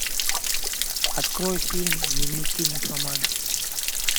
открой фильм дневники нимфоманки